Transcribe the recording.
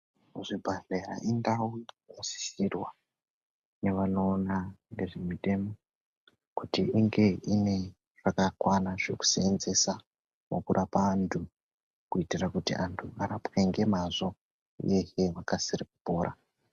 Ku zvibhedhlera indau ino sisirwa ne vano ona ngezve mitemo kuti inge ine zvaka kwana zveku senzesa muku rapa antu kuitira kuti antu arapwe nge mazvo uyehe akasire kupora.